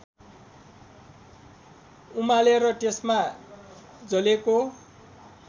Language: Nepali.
उमालेर त्यसमा जलेको